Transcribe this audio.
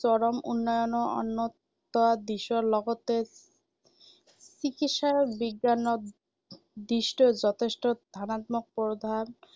চৰম উন্নয়নৰ অন্য় এটা দিশৰ লগতে চিকিৎসা বিজ্ঞানৰ দিশতো যথেষ্ট ধনাত্মক প্ৰভাৱ